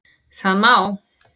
Það má